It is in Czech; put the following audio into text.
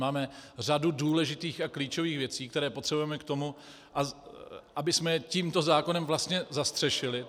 Máme řadu důležitých a klíčových věcí, které potřebujeme k tomu, abychom je tímto zákonem vlastně zastřešili.